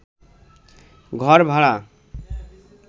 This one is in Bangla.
ঘর ভাড়া